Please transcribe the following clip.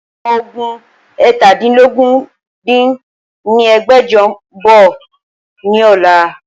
Àwọn Ọmọ ogún eétàdínlógún dín ní ẹgbẹ́jọ ń bọ̀ ni ọ̀la